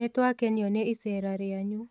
Nĩtwakwenio nĩ icera rĩanyu